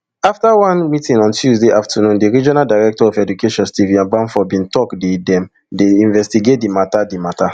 afta one meeting on tuesday afternoondi regional director of education stephen abamfo bin tok day dem dey investigate di mata di mata